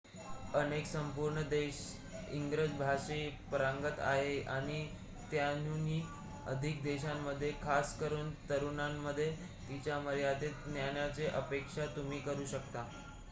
अनेक संपूर्ण देश इंग्रजी भाषेत पारंगत आहेत आणि त्याहूनही अधिक देशांमध्ये खासकरून तरुणांमध्ये तिच्या मर्यादित ज्ञानाची अपेक्षा तुम्ही करू शकता